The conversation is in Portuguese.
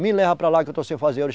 Me leva para lá que eu estou sem fazer